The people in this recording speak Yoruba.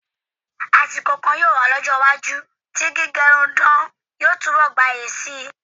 Àsìkò kan yóò wá ní ọjọ́-iwájú tí gíge irun dán yóò túnbọ̀ gbayì síi.